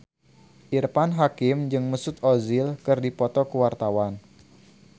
Irfan Hakim jeung Mesut Ozil keur dipoto ku wartawan